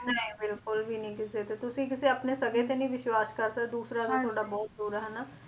ਨਹੀਂ ਬਿਲਕੁਲ ਵੀ ਨਹੀਂ ਕਿਸੇ ਤੇ ਤੁਸੀ ਆਪਣੇ ਕਿਸੇ ਸਕੇ ਤੇ ਨਹੀਂ ਵਿਸ਼ਵਾਸ ਕਰ ਸਕਦੇ ਦੂਸਰਾ ਤਾਂ ਤੁਹਾਡਾ ਬਹੁਤ ਦੂਰ ਆ ਹਨਾਂ